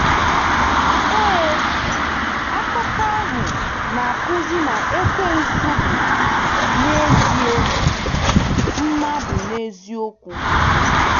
Ee, akụkọ ahụ na-akụzi na Ekwensu bụ, n’ezie,, mmadụ n’eziokwu.